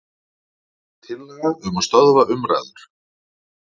Tillaga um að stöðva umræður.